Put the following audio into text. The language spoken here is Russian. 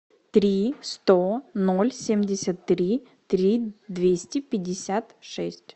три сто ноль семьдесят три три двести пятьдесят шесть